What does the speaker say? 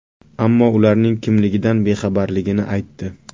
Ammo ularning kimligidan bexabarligini aytdi.